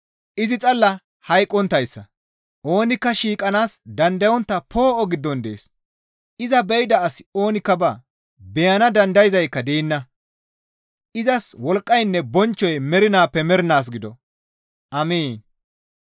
Izi xalla hayqqonttayssa; oonikka shiiqanaas dandayontta poo7o giddon dees; iza be7ida asi oonikka baa; beyana dandayzaadeyka deenna; izas wolqqaynne bonchchoy mernaappe mernaas gido. Amiin.